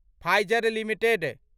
Pfizer limited